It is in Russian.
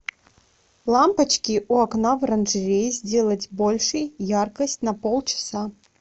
лампочки у окна в оранжерее сделать больше яркость на полчаса